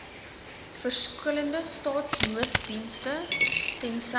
verskillende staatsnooddienste tensy